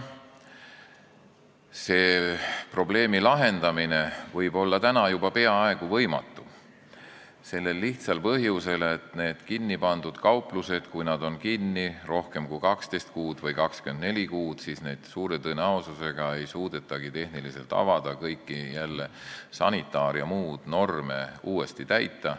Probleemi lahendamine võib olla juba peaaegu võimatu, sellel lihtsal põhjusel, et kui kauplused on kinni rohkem kui 12 või 24 kuud, siis neid suure tõenäosusega ei suudetagi tehnilistel põhjustel avada, sest ei saa jälle kõiki sanitaar- ja muid norme täita.